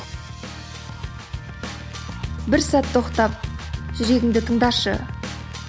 бір сәт тоқтап жүрегіңді тыңдашы